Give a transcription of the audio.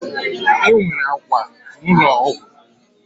Enwere akwa na ụlọ ọgwụ